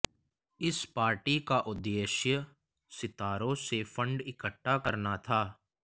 इस पार्टी का उद्देश्य सितारों से फंड इकट्ठा करना था